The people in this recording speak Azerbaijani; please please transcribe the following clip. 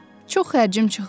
Çox xərcim çıxmır.